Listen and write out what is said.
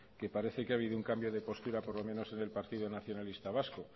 que parece que ha habido un cambio de postura por lo menos en el partido nacionalista vasco